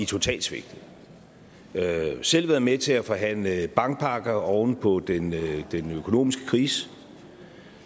totalt svigtet af en selv været med til at forhandle bankpakker oven på den økonomiske krise